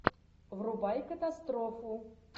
врубай катастрофу